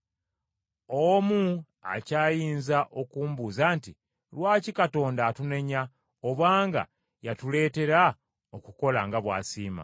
Omu akyayinza okumbuuza nti, Lwaki Katonda atunenya, obanga y’atuleetera okukola nga bw’asiima?